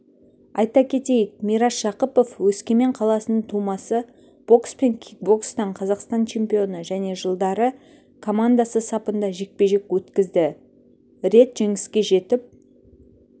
айта кетейік мирас жақыпов өскемен қаласының тумасы бокс пен кикбокстан қазақстан чемпионы және жылдары командасы сапында жекпе-жек өткізді рет жеңіске жетіп